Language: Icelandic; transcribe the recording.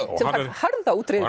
harða útreið